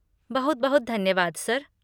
बहुत बहुत धन्यवाद, सर।